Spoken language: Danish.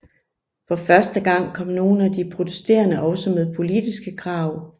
For første gang kom nogle af de protesterende også med politiske krav